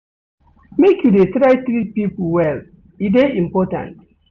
Make you dey try treat pipo well, e dey important.